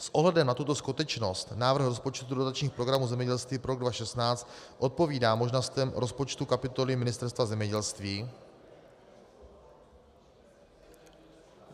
S ohledem na tuto skutečnost návrh rozpočtu dotačních programů zemědělství pro rok 2016 odpovídá možnostem rozpočtu kapitoly Ministerstva zemědělství...